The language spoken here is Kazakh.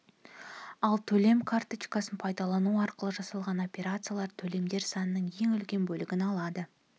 ал төлем карточкасын пайдалану арқылы жасалған операциялар төлемдер санының ең үлкен бөлігін алады